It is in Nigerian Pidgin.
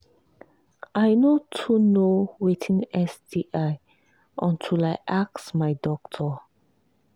i no too know watin sti until i ask my doctor